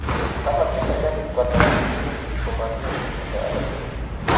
Kimakchini serikalit ko alda minutik ko mamie pichindo agetugul